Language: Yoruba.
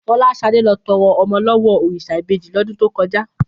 Fọláṣadé lọ tọrọ ọmọ lọ́wọ́ òrìṣà ìbejì lọ́dún tó kọjá